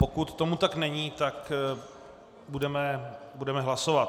Pokud tomu tak není, tak budeme hlasovat.